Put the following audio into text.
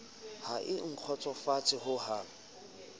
ha e a nkgotsofatsa hohang